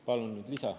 Palun lisa.